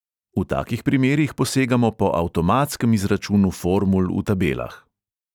V takih primerih posegamo po avtomatskem izračunu formul v tabelah.